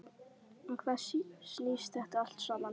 Um hvað snýst þetta allt saman?